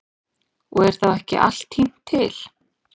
Og er þá ekki allt tínt til.